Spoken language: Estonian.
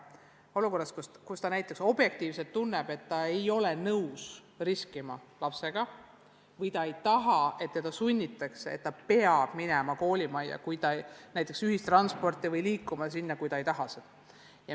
Olukorras, kus lapsevanem objektiivselt tunneb, et ta ei ole nõus lapsega riskima, või ta ei taha, et teda sunnitakse minema koolimajja või kasutama ühistransporti, kui ta seda ei taha.